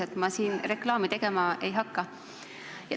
Aga ma siin reklaami tegema ei hakka.